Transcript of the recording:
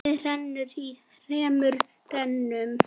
Vatnið rennur í þremur rennum.